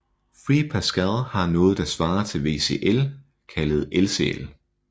Free Pascal har noget der svarer til VCL kaldet LCL